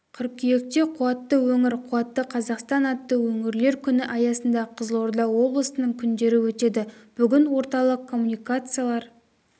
қыркүйекте қуатты өңір қуатты қазақстан атты өңірлер күні аясында қызылорда облысының күндері өтеді бүгін орталық коммуникациялар